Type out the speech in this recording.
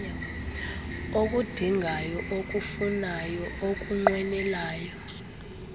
ukudingayo ukufunayo ukunqwenelayo